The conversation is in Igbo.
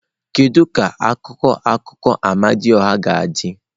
Kedu ka akụkọ akụkọ Amadioha ga-adị?